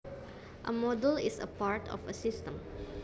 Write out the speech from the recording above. A module is a part of a system